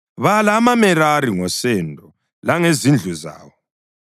“Bala amaMerari ngosendo langezindlu zawo.